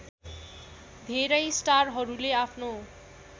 धेरै स्टारहरूले आफ्नो